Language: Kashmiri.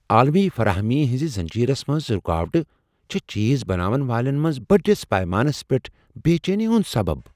عالمی فراہمی ہنزِ زنجیرس منز رٗكاوٹہٕ چھِ چیز بناون والین منز بڈِس پیمانس پیٹھ بے چینی ہُند سبب۔